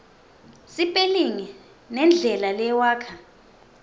sipelingi nendlela lewakha